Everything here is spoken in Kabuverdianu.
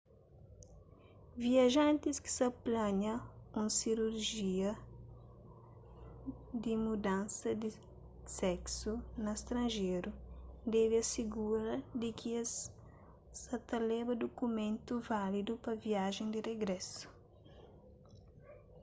viajantis ki sa plania un sirujia di mudansa di seksu na stranjeru debe asigura di ki es sa ta leba dukumentu válidu pa viajen di rigrésu